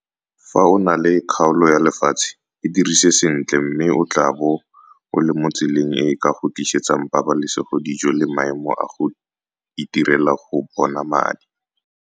Fa o na le kgaolo ya lefatshe, e dirise sentle mme o tlaabo o le mo tseleng e e ka go tlisetsang pabalesegodijo le maemo a go itirela go bona madi.